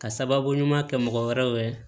Ka sababu ɲuman kɛ mɔgɔ wɛrɛw ye